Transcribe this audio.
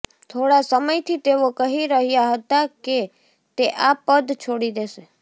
થોડા સમયથી તેઓ કહી રહ્યાં હતાં કે તે આ પદ છોડી દેશે